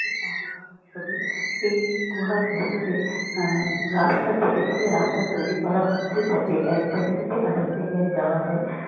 এটি পাহাড়ের ছবি এই গুহার ভেতরে রাস্তা কেটে কেটে রাস্তা তৈরি করা হচ্ছে যাতে এক জায়গা থেকে আরেক জায়গায় যাওয়া যায়।